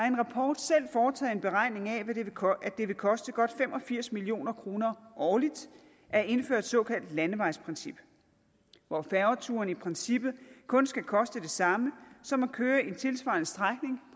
en rapport selv foretaget en beregning af at det vil koste godt fem og firs million kroner årligt at indføre et såkaldt landevejsprincip hvor færgeturene i princippet kun skal koste det samme som at køre en tilsvarende strækning